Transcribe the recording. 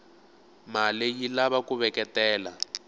male yilava kuveketela